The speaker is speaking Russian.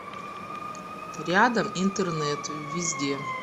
рядом интернет везде